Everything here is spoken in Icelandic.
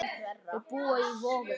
Þau búa í Vogum.